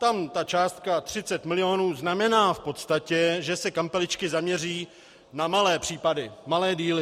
Tam ta částka 30 milionů znamená v podstatě, že se kampeličky zaměří na malé případy, malé díly.